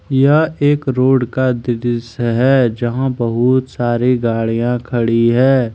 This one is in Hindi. यह एक रोड का दृश्य है जहां बहुत सारी गाड़ियां खड़ी है।